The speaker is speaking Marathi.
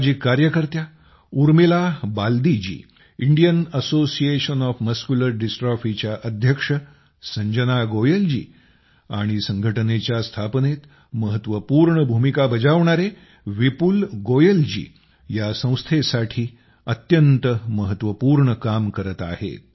सामाजिक कार्यकर्त्या उर्मिला बाल्दीजी इंडियन असोसिएशन ऑफ मस्क्युलर डिस्ट्रॉफीच्या अध्यक्ष संजना गोयलजी आणि या संघटनेच्या स्थापनेत महत्वपूर्ण भूमिका बजावणारे विपुल गोयल जी या संस्थेसाठी अत्यंत महत्वपूर्ण काम करत आहेत